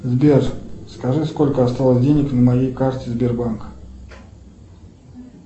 сбер скажи сколько осталось денег на моей карте сбербанка